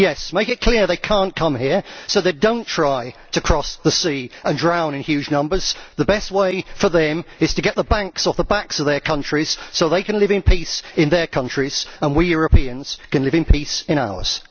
Yes, make it clear they cannot come here so they do not try to cross the sea and drown in huge numbers. The best way for them is to get the banks off the backs of their countries so that they can live in peace in their countries and we Europeans can live in peace in ours.